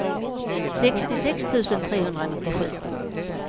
sextiosex tusen trehundranittiosju